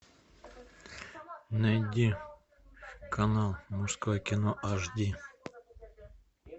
найди канал мужское кино аш ди